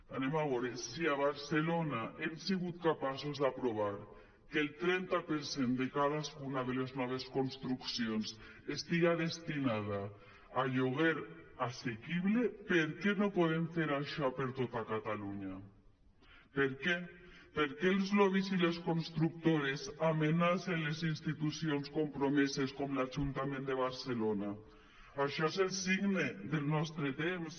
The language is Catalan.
anem a veure si a barcelona hem sigut capaços d’aprovar que el trenta per cent de cadascuna de les noves construccions estigui destinat a lloguer assequible per què no podem fer això per a tot catalunya per què per què els lobbys i les constructores amenacen les institucions compromeses com l’ajuntament de barcelona això és el signe del nostre temps